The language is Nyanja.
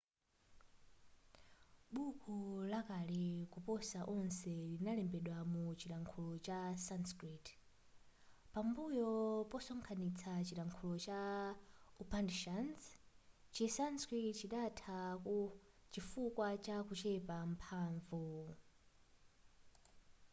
buko lakale koposa onse linalembedwa mu chilankhulo cha sanskrit pambuyo posonkhanista chilankhulo cha upanishads chi sanskrit chidatha chifukwa cha kuchepa mphanvu